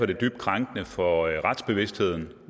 det dybt krænkende for retsbevidstheden